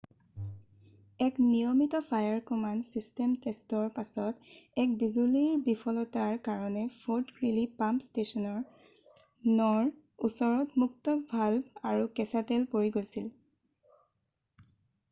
এক নিয়মিত fire command system টেষ্টৰ পাছত এক বিজুলীৰ বিফলতাৰ কাৰণে ফৰ্ট গ্ৰীলি পাম্প ষ্টেছন 9 ৰ ওচৰত মুক্ত ভাল্ভ আৰু কেঁচা তেল পৰি গৈছিল৷